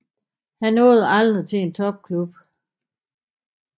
Han nåede aldrig til en topklub